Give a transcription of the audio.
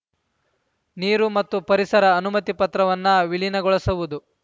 ನೀರು ಮತ್ತು ಪರಿಸರ ಅನುಮತಿ ಪತ್ರವನ್ನ ವಿಲೀನಗೊಳಿಸುವುದು